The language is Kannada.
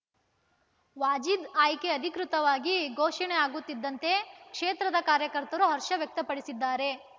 ವಾಜೀದ್‌ ಆಯ್ಕೆ ಅಧಿಕೃತವಾಗಿ ಘೋಷಣೆ ಆಗುತ್ತಿದ್ದಂತೆ ಕ್ಷೇತ್ರದ ಕಾಯಕರ್ತರು ಹರ್ಷ ವ್ಯಕ್ತಪಡಿಸಿದ್ದಾರೆ